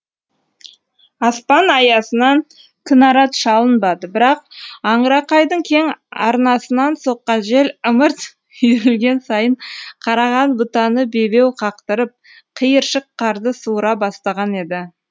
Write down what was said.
аспан аясынан кінарат шалынбады бірақ аңырақайдың кең арнасынан соққан жел ымырт үйірілген сайын қараған бұтаны бебеу қақтырып қиыршық қарды суыра бастаған еді